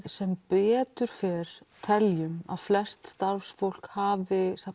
sem betur fer teljum að flest starfsfólk hafið